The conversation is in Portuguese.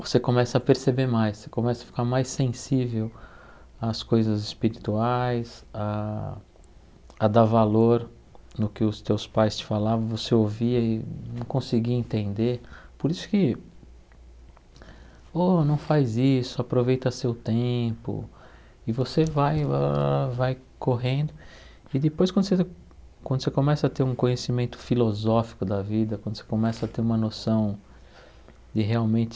você começa a perceber mais, você começa a ficar mais sensível às coisas espirituais, a a dar valor no que os teus pais te falavam, você ouvia e não conseguia entender, por isso que, oh, não faz isso, aproveita seu tempo e você vai alalalala vai correndo e depois quando você quando você começa a ter um conhecimento filosófico da vida, quando você começa a ter uma noção de realmente